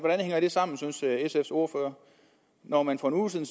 hænger det sammen synes sfs ordfører når man for en uge siden